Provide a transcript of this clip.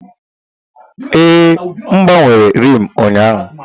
Ee, m gbanwere rim ụnyaahụ.